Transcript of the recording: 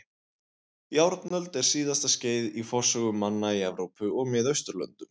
Járnöld er síðasta skeiðið í forsögu manna í Evrópu og Miðausturlöndum.